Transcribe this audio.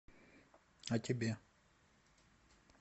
о тебе